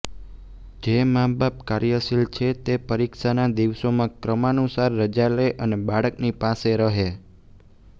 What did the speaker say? જે માબાપ કાર્યશીલ છે તે પરિક્ષાના દિવસોમાં ક્રમાનુસાર રજા લે અને બાળકની પાસે રહે